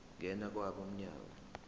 ngena kwabo mnyango